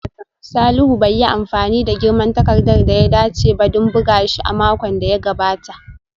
Salihu bai yi amfani da girman takarda da ya dace ba don buga shi a makon da ya gabata